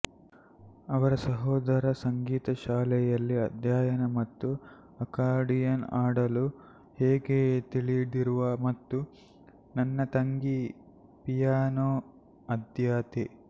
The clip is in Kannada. ಅವರ ಸಹೋದರ ಸಂಗೀತ ಶಾಲೆಯಲ್ಲಿ ಅಧ್ಯಯನ ಮತ್ತು ಅಕಾರ್ಡಿಯನ್ ಆಡಲು ಹೇಗೆ ತಿಳಿದಿರುವ ಮತ್ತು ನನ್ನ ತಂಗಿ ಪಿಯಾನೋ ಆದ್ಯತೆ